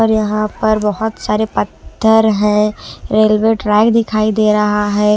और यहां पर बहुत सारे पत्थर हैं रेलवे ट्रैक दिखाई दे रहा है।